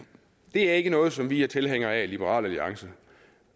det er ikke noget som vi er tilhængere af i liberal alliance